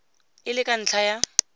e le ka ntlha ya